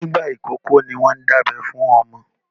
Nígbà ìkókó ní wọ́n ń dábẹ́ fún ọmọ.